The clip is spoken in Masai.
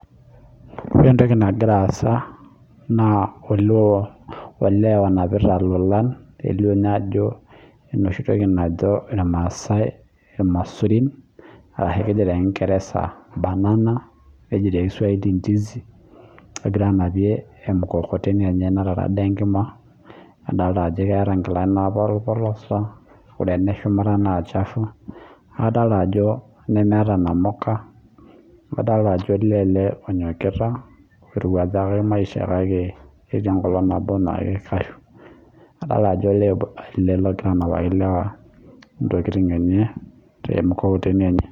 Ore entoki nagira aasa naa ole lonapita lolan nelio naa ajo enoshi toki najo irmasae irmasurin ashu keji tee kingeresa banana neji tee Kiswahili ndizi. Egir anapie ormukokoteni enye natara ade enjima nadolita ajo keeta inkilani napolipolosa ore ene shumata naa chafu adolita ajo nemeeta inamuka amu adolita ajo ole ele onyokita orowakjaka maisha kake ketaa enkolong' naboo naa keikashu. Adokita ajoo ole ele logira anapaki ilewa intokitin enye tee mkokoteni enye.